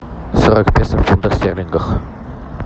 сорок песо в фунтах стерлингах